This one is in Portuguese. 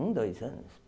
Um, dois anos?